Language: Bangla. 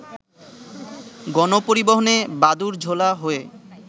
গণপরিবহনে বাদুড়-ঝোলা হয়ে